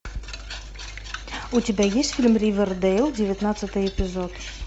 у тебя есть фильм ривердейл девятнадцатый эпизод